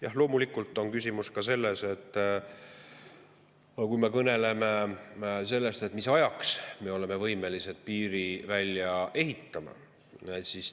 Jah, loomulikult on küsimus ka selles, mis ajaks me oleme võimelised piiri välja ehitama.